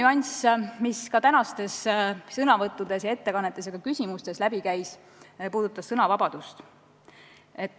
Üks teema, mis ka tänastest sõnavõttudest, ettekannetest ja ka küsimustest läbi käis, on sõnavabadus.